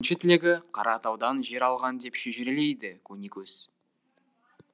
екінші тілегі қаратаудан жер алған деп шежірелейді көнекөз